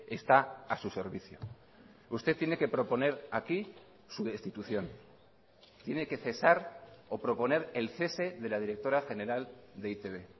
está a su servicio usted tiene que proponer aquí su destitución tiene que cesar o proponer el cese de la directora general de e i te be